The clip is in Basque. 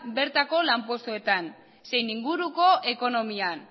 bertako lanpostuetan zein inguruko ekonomian